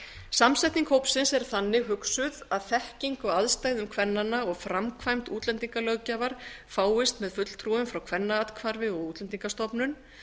samsetning hópsins er þannig hugsuð að þekking á aðstæðum kvennanna og framkvæmd útlendingalöggjafar fáist með fulltrúum frá kvennaathvarfi og útlendingastofnun